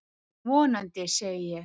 Vonandi, segi ég.